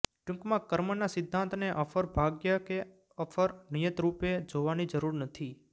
ટૂંકમાં કર્મના સિદ્ધાંતને અફર ભાગ્ય કે અફર નિયતિરૃપે જોવાની જરૃર નથી